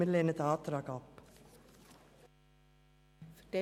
Wir lehnen den Antrag ab.